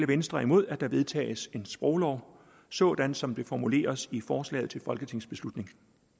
venstre er imod at der vedtages en sproglov sådan som det formuleres i forslaget til folketingsbeslutning